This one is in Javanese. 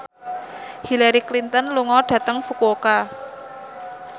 Hillary Clinton lunga dhateng Fukuoka